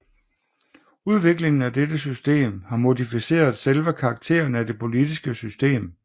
Udviklingen af dette system har modificeret selve karakteren af det politiske system